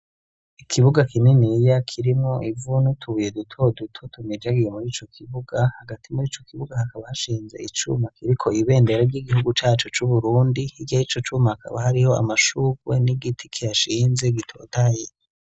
Ikibuga kininiya kirimwo ivu n'utubuye duto duto tumijagiye muri ico kibuga, hagati muri ico kibuga hakaba hashinze icuma kiriko ibendera ry'igihugu cacu c'Uburundi, hirya y'ico cuma hakaba hariho amashurwe n'igiti kihashinze gitotahaye.